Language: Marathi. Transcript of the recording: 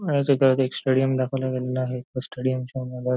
या चित्रात एक स्टेडियम दाखवला गेलेला आहे या स्टेडियमच्या मधात --